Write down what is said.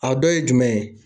A dɔ ye jumɛn ?